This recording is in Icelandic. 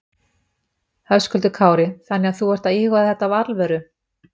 Höskuldur Kári: Þannig að þú ert að íhuga þetta af alvöru?